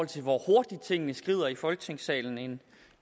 til hvor hurtigt tingene skrider frem i folketingssalen